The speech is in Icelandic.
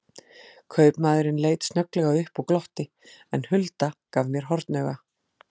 Kaupamaðurinn leit snögglega upp og glotti, en Hulda gaf mér hornauga.